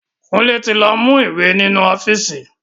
Kunle ti lọ mú ìwé ninu ọ́fíìsì